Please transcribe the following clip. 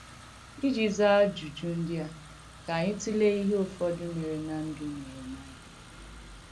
Ijì zàà àjùjù ndí a, ka ànyị̣ tùleè ìhé ùfọ̀dù mèrè ná ndú Nèhèmàịà.